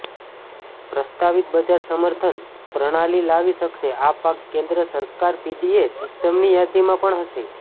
પ્રસ્તાવિત બજાર સમર્થન પ્રણાલી લાવી શકશે આ પાક કેન્દ્ર સરકાર પીડીએસ સિસ્ટમની યાદીમાં પણ હશે